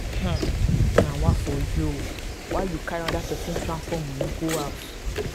um nawaa for you o why you carry anoda pesin transport moni go house?